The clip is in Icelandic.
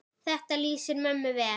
Þetta lýsir mömmu vel.